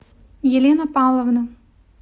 елена павловна